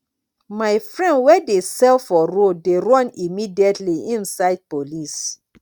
my friend wey dey sell for road dey run immediately im sight police